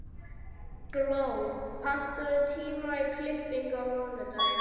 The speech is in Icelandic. Gló, pantaðu tíma í klippingu á mánudaginn.